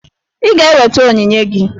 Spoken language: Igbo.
Ị ga-eweta onyinye gị!